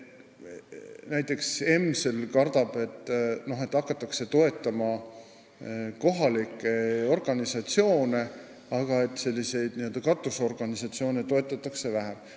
Näiteks EMSL kardab, et hakatakse toetama kohalikke organisatsioone ja katusorganisatsioone toetatakse vähem.